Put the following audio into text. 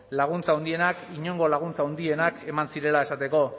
laguntza handienak inongo laguntza handienak eman zirela esateko